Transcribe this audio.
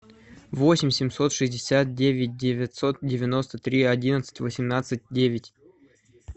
восемь семьсот шестьдесят девять девятьсот девяносто три одиннадцать восемнадцать девять